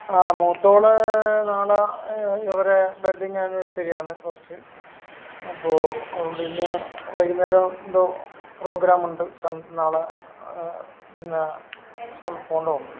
ആഹ് മൂത്തവൾ നാളെ എഹ് ഇവരെ വെഡിങ് ആനിവേഴ്സറി ആണ് ഫസ്റ്റ് അപ്പൊ അതുകൊണ്ട് ഇന്ന് വൈകുന്നേരം എന്തോ പ്രോഗ്രാം ഉണ്ട് സം നാളെ പിന്നെ സ്കൂളിൽ പോണ്ട വന്നു